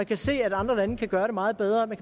kan se at andre lande kan gøre det meget bedre man